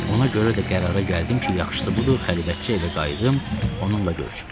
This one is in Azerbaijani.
Ona görə də qərara gəldim ki, yaxşısı budur xəlvətcə evə qayıdım, onunla görüşüm.